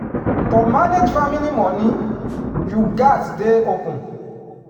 to manage family money you gats dey open.